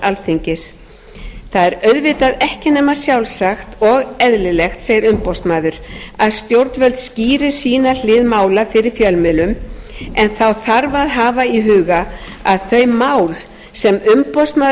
alþingis það er auðvitað ekki nema sjálfsagt og eðlilegt segir umboðsmaður að stjórnvöld skýri sína hlið mála fyrir fjölmiðlum en þá þarf að hafa í huga að þau mál sem umboðsmaður